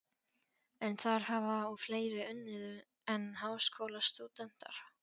En þar hafa og fleiri unnið en háskólastúdentar.